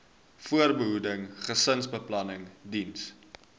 voorbehoeding gesinsbeplanning diens